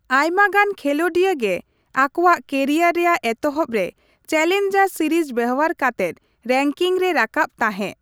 ᱟᱭᱢᱟᱜᱟᱱ ᱠᱷᱮᱞᱚᱸᱰᱤᱭᱟᱹ ᱜᱮ ᱟᱠᱚᱣᱟᱜ ᱠᱮᱨᱤᱭᱟᱨ ᱨᱮᱭᱟᱜ ᱮᱛᱚᱦᱚᱵ ᱨᱮ ᱪᱮᱞᱮᱧᱡᱟᱨ ᱥᱤᱨᱤᱡᱽ ᱵᱮᱣᱦᱟᱨ ᱠᱟᱛᱮᱜ ᱨᱮᱝᱠᱤᱝ ᱨᱮ ᱨᱟᱠᱟᱵ ᱛᱟᱦᱮᱸᱜ ᱾